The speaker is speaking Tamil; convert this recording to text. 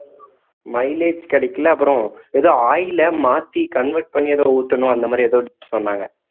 mileage கிடைக்கல அப்புறம் ஏதோ oil ல மாத்தி convert பண்ணி ஏதோ ஊத்தணும் அந்த மாறி ஏதோ சொன்னாங்க